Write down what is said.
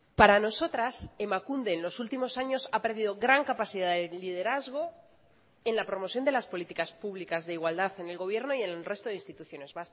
para nosotras emakunde en los últimos años ha perdido gran capacidad de liderazgo en la promoción de las políticas públicas de igualdad en el gobierno y en el resto de instituciones